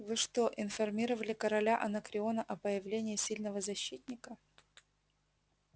вы что информировали короля анакреона о появлении сильного защитника